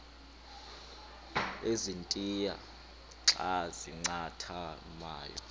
ezintia xa zincathamayo